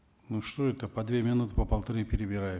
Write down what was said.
ну что это по две минуты по полторы перебираем